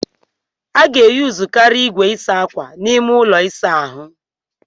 A ga-eyuzukari igwe ịsa akwa n'ime ụlọ ịsa ahu.